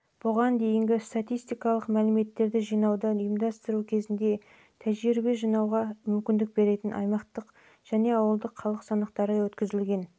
бұған дейін статистикалық мәліметтерді жинауды ұйымдастыру кезінде тәжірибе жинақтауға мүмкіндік беретін аймақтық және ауылдық халық санақтары өткізілген